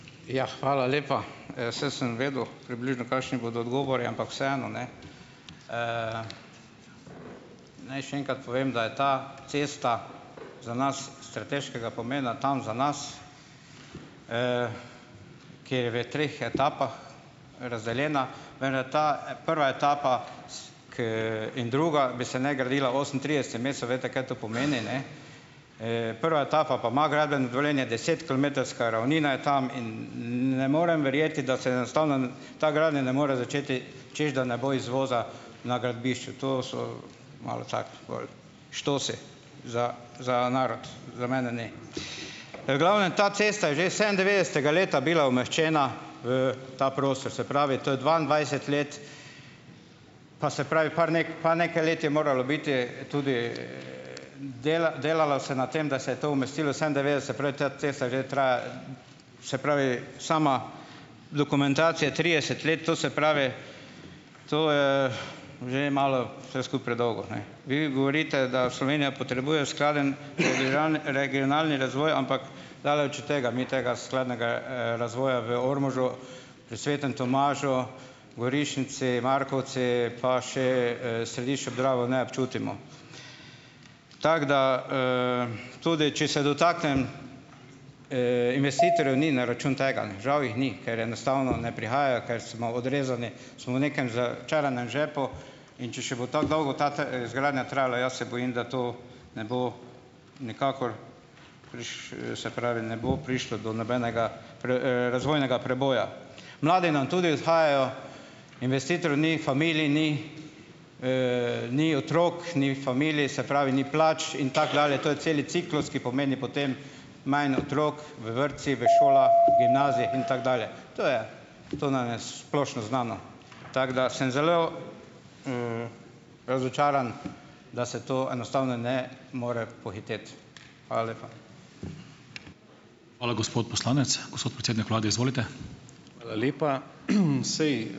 Ja, hvala lepa. Saj sem vedel približno, kakšni bodo odgovori, ampak vseeno, ne. Naj še enkrat povem, da je ta cesta za nas strateškega pomena tam za nas. Kaj je v treh etapah? Razdeljena venda ta, prva etapa, ker in druga bi se naj gradila osemintrideset mesecev, veste, kaj to pomeni, ne. Prva etapa pa ima gradbeno dovoljenje. Desetkilometrska ravnina je tam in nn ne morem verjeti, da se enostavno ta gradnja ne more začeti, češ da ne bo izvoza na gradbišču, to so "štosi" za za narod, za mene, ne. glavnem, ta cesta je že sedemindevetdesetega bila umeščena v ta prostor. Se pravi, da to je dvaindvajset let. Pa se pravi par par nekaj let je moralo biti tudi, delalo se na tem, da se je to umestilo, se pravi, sama dokumentacija je trideset let, to se pravi, to je že malo vse skupaj predolgo, ne. Vi govorite, da Slovenija potrebuje skladen regionalni razvoj, ampak daleč od tega, mi tega skladnega, razvoja v Ormožu, pri Svetem Tomažu, Gorišnici, Markovci pa še, Središču ob Dravi ne občutimo. Tako da, tudi če se dotaknem, investitorjev, ni na račun tega. Žal jih ni, ker enostavno ne prihajajo, ker smo odrezani, smo v nekem začaranem žepu, in če še bo tako dolgo ta izgradnja trajala, jaz se bojim, da to ne bo nikakor se pravi, ne bo prišlo do nobenega razvojnega preboja. Mladi nam tudi odhajajo, investitorjev ni, familij ni, ni otrok, ni familij, se pravi, ni plač in tako dalje; to je celi ciklus, ki pomeni potem manj otrok v vrtcih, v šolah, gimnazijah in tako dalje, to je to nam je splošno znano. Tako da sem zelo, razočaran, da se to enostavno ne more pohiteti. Hvala lepa.